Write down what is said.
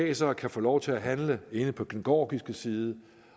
altså kan få lov til at handle inde på den georgiske side